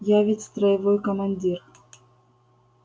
я ведь строевой командир